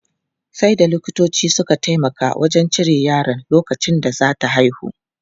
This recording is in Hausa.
Sai da likitoci suka taimaka wajen cire yaron lokacin da za ta haihu.